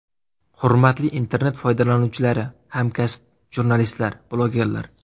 Hurmatli internet foydalanuvchilari, hamkasb jurnalistlar, blogerlar!